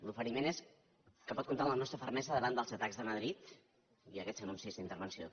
l’oferiment és que pot comptar amb la nostra fermesa davant dels atacs de madrid i aquests anuncis d’intervenció